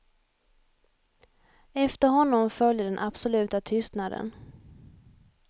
Efter honom följde den absoluta tystnaden.